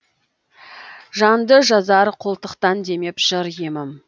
жанды жазар қолтықтан демеп жыр емім